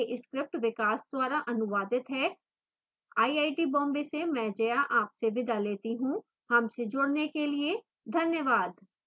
यह script विकास द्वारा अनुवादित है मैं जया अब आपसे विदा लेती हूँ हमसे जुडने के लिए धन्यवाद